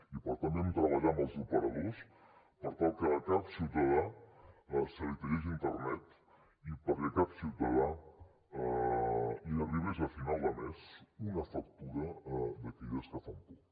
i per tant vam treballar amb els operadors per tal que a cap ciutadà se li tallés internet i perquè a cap ciutadà li arribés a final de mes una factura d’aquelles que fan por